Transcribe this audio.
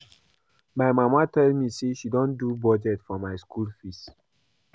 My mama tell me say she don do budget for my school fees